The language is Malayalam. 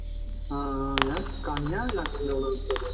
ആഹ് അഹ് ഞാൻ